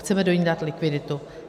Chceme do ní dát likviditu.